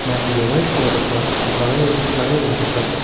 मान्छेले white colour को shirt लगाई लगाइरहेको छ।